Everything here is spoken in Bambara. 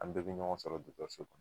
An bɛ bɛ ɲɔgɔn dɔkɔtɔrɔso la